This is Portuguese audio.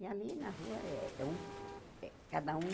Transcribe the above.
E ali na rua é é um, cada um